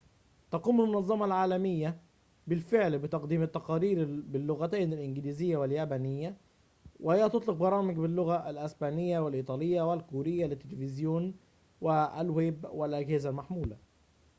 تقوم المنظمة العالمية بالفعل بتقديم التقارير باللغتين الإنجليزية واليابانية وهي تطلق برامج باللغة الإسبانية والإيطالية والكورية للتليفزيون والويب والأجهزة المحمولة